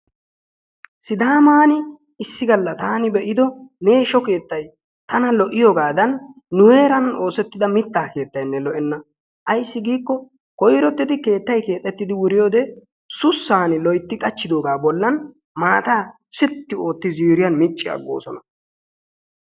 Sidamman issi galla taani be'ido meeshsho keettay tana lo''iyoogadan nu heeran oosettida mittaa keettaynne lo''enna. Ayssi giikko koyrotidi keettay keexxetidi wuriyoode sussan loytti qachchidooga bollan maatta sitti ootti ziiriyan micci aggoosona.